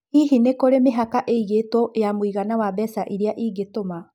Hihi nĩ kũrĩ mĩhaka ĩigĩtwo ya mũigana wa mbeca iria ingĩtũma?